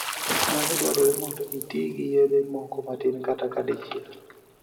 Nyalo dwarore mondo itii gi yedhe moko matin kata ka dichiel.